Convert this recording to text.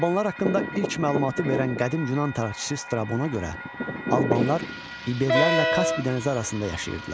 Albanlar haqqında ilk məlumatı verən qədim Yunan tarixçisi Strabona görə, Albanlar İberlərlə Kaspi dənizi arasında yaşayırdılar.